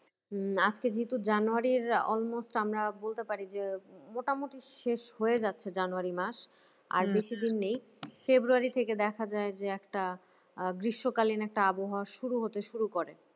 হম আজকে যেহেতু january almost আমরা বলতে পারি যে মোটামুটি শেষ হয়ে যাচ্ছে january মাস আর বেশিদিন নেই february থেকে দেখা যায় যে একটা আহ গ্রীষ্মকালীন একটা আবহাওয়া শুরু হতে শুরু করে।